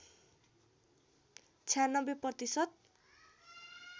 ९६ प्रतिशत